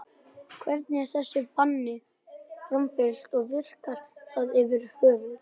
Hvernig er þessu banni framfylgt og virkar það yfir höfuð?